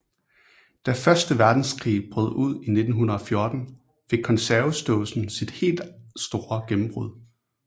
Da første verdenskrig brød ud i 1914 fik konservesdåsen sit helt store gennembrud